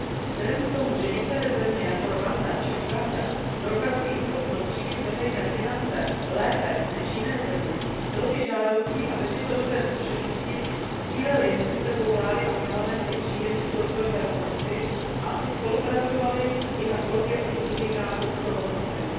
Vzhledem k tomu, že některé země jako Rwanda či Uganda prokazují schopnost řídit veřejné finance lépe než jiné země, by bylo žádoucí, aby tyto dobré zkušenosti sdílely mezi sebou vlády a parlamenty příjemců rozvojové pomoci a aby spolupracovaly i na tvorbě oněch indikátorů pro hodnocení.